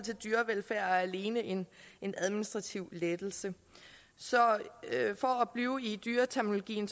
er alene en en administrativ lettelse så for at blive i dyreterminologien